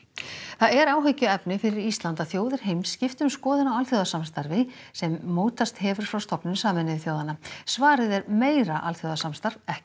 það er áhyggjuefni fyrir Ísland að þjóðir heims skipti um skoðun á alþjóðasamstarfi sem mótast hefur frá stofnun Sameinuðu þjóðanna svarið er meira alþjóðasamstarf ekki